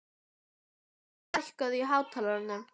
Tobías, lækkaðu í hátalaranum.